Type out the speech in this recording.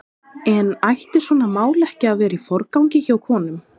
En ætti svona mál ekki að vera í forgangi hjá konum?